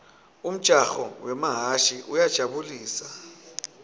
umjaho wemahhashi uyajabu lisa